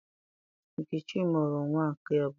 Nkechi mụrụ nnwa nke abụọ